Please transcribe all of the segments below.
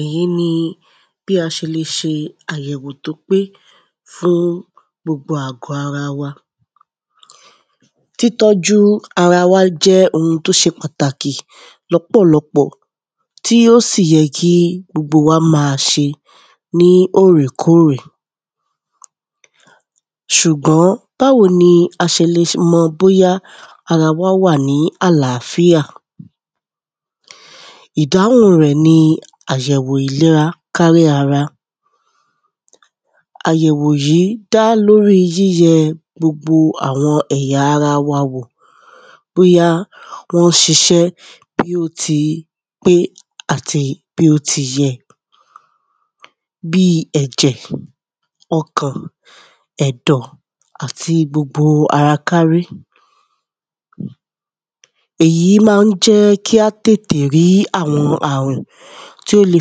èyí ni bí a se le se àyẹ̀wò tó pé fún gbogbo àwọn àgọ́ ara wa, títọ́jú ara wa jẹ́ oun tó se pàtàkì lọ́pọ̀lọpọ̀ tí ó sì yẹ kí gbogbo wa ma se ní òrèkórè, sùgbọ́n báwo ni a se lè mọ̀ bóyá ara wa, wáà ní àlàáfíà, ìdáhùn rẹ̀ ní àyẹ̀wò ìlera kárí ara, àyẹ̀wò yí, dá lóri yìyẹ gbogbo àwọn ẹ̀yà ara wa wò, bóyá wọ́n sisẹ́ bí ó ti pé àti bí ó ti yẹ,, bíi ẹ̀jẹ̀, ọkàn, ẹ̀dọ̀ àti gbogbo ara kárí, èyí ma ń jẹ́ kí a tètè rí àwọn àrùn tí ó le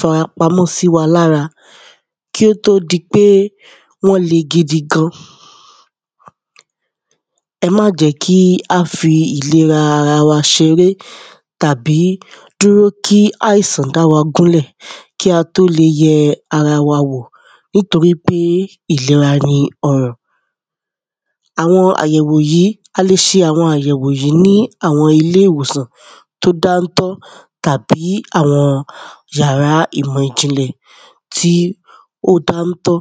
farapamọ́ sí wa lára, kí ó tó di pé wọ́n le gidigan, ẹ má jẹ́ kí a fi ìlera ara wa seré tàbí dúró kí àìsàn dá wa gúnlẹ̀ kí a tó le ye ara wa wò nítorí pé ìlera ní ọrọ̀, àwọn àyẹ̀wò yìí, a lè se àwọn àyẹ̀wò yìí ní àwọn ilé ìwòsàn tó dántọ́, tàbí àwọn yàrá ìmọ̀ ìjìnlẹ̀ tí ó dántọ́.